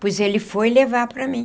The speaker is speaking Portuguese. pois ele foi levar para mim.